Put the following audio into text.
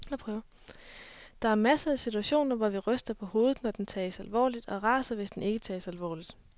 Der er masser af situationer, hvor vi ryster på hovedet når den tages alvorligt og raser, hvis den ikke tages alvorligt.